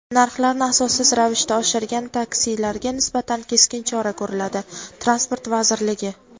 Narxlarni asossiz ravishda oshirgan taksilarga nisbatan keskin chora ko‘riladi - Transport vazirligi.